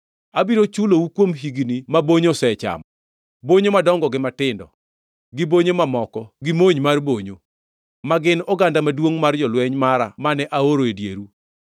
“Abiro chulou kuom higni ma bonyo osechamo; bonyo madongo gi matindo, gi bonyo mamoko gi mony mar bonyo; ma gin oganda maduongʼ mar jolweny mara mane aoro e dieru.